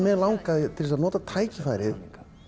mig langaði til að nota tækifærið